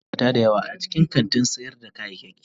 Akwai ma'aikata da yawa a cikin kantin sayar da kayayyaki.